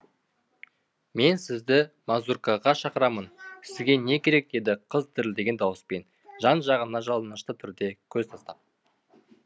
мен сізді мазуркаға шақырамын сізге не керек деді қыз дірілдеген дауыспен жан жағына жалынышты түрде көз тастап